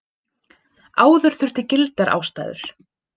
Áður þurfti til gildar ástæður.